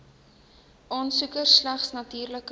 aansoeker slegs natuurlike